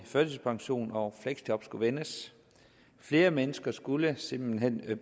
førtidspension og fleksjob skulle vendes flere mennesker skulle simpelt hen